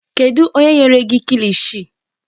Kedụ onye nyere gị kilishi?